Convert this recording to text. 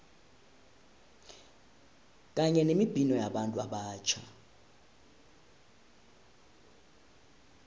kanye nemibhino yabantu abatjha